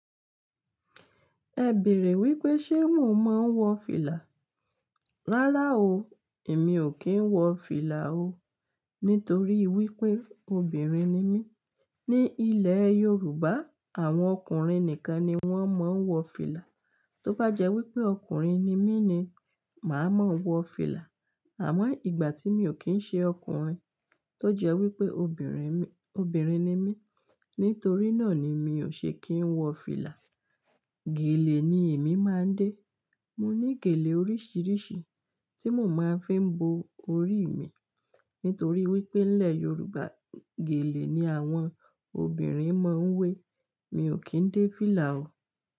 Ẹ bèèrè wípé ṣe mò mo ń wọ fìlà? Rárá o, èmi ò kí ń wọ fìlà o. Nítorí wípé obìnrin ni mí. Ni ilẹ̀ Yorùbá, àwọn ọkùnrin nìkan ni wón máa ń wọ fìlà. Tó bá jẹ́ wípé ọkùnrin ni mí ni, màá máa wọ fìlà. Àmọ́ ìgbà tí mi ò kí ń ṣe ọkùnrin, tó jẹ́ wípé obìnrin, obìnrin ni mí. Nítorí náà ni mi ò ṣe kí ń wọ fìlà. Gèlè ni èmi máa ń dé. Mo ní gèlè oríṣìíríṣìí tí mo máa fi n bó orí mi. Nítorí wípé nílẹ̀ Yorùbá, gèlè ni àwọn obìnrin máa ń wé. Mi ò kí ń dé fìlà o.